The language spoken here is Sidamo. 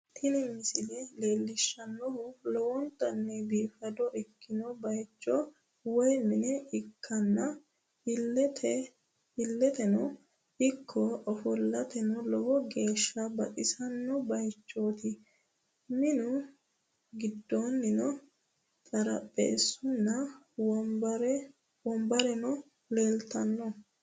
Tini misile leellishshannohu lowontanni biifado ikkino bayicho woy mine ikkanna, illeteno ikko ofollateno lowo geeshsha baxisanno bayichooti, minu giddoonnino xarapheessunna wonbareno leeltanno.